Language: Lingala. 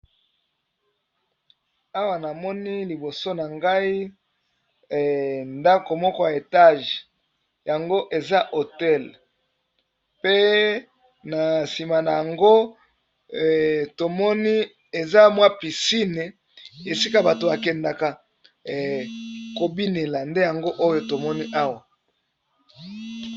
Awa nazomona liboso na ngai ndako ya Etage eza hotel pe na sima koza piscine esika batu bakendeke kobina.